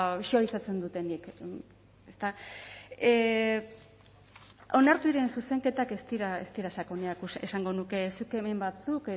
suabisatzen dutenik eta onartu diren zuzenketak ez dira sakonekoak esango nuke zuk hemen batzuk